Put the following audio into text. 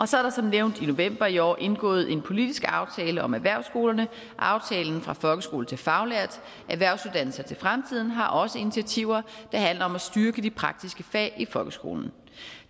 så er der som nævnt i november sidste år indgået en politisk aftale om erhvervsskolerne aftalen fra folkeskole til faglært erhvervsuddannelser til fremtiden har også initiativer der handler om at styrke de praktiske fag i folkeskolen